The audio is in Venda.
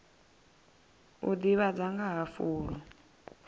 u ḓivhadza nga ha fulo